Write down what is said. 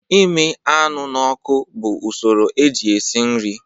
Imi anụ n'ọkụ bụ usoro eji esi nri